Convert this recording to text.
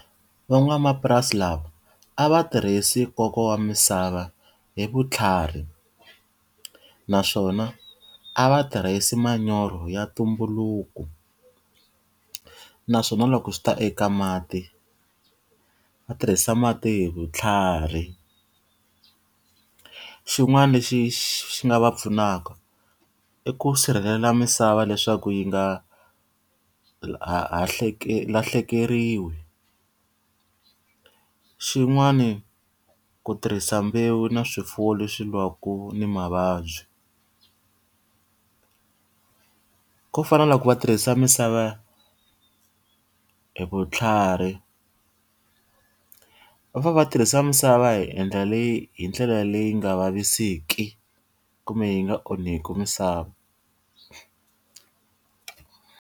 Van'wamapurasi lava a va tirhisi nkoka wa misava hi vutlhari, naswona a va tirhisi manyoro ya ntumbuluko. Naswona loko swi ta eka mati va tirhisa mati hi vutlhari. Xin'wana lexi xi nga va pfunaka i ku sirhelela misava leswaku yi nga lahlekeriwi, xin'wani ku tirhisa mbewu na swifuwo leswi lwaka ni mavabyi. Ku fana na loko va tirhisa misava hi vutlhari, va fanele va tirhisa misava hi endla leyi hi ndlela leyi nga vaviseki kumbe yi nga onhaki misava.